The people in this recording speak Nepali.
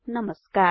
नमस्कार